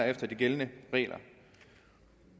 efter de gældende regler